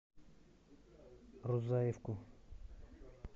рузаевку